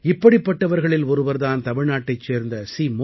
இப்படிப்பட்டவர்களில் ஒருவர் தான் தமிழ்நாட்டைச் சேர்ந்த சி